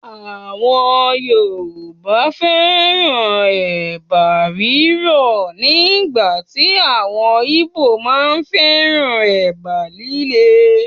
Àwọn Yorùbá fẹ́ràn Ẹ̀bà rírọ̀ nígbàtí àwọn Ìgbò máa ń féràn Ẹ̀bà líle.